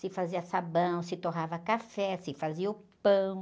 Se fazia sabão, se torrava café, se fazia o pão.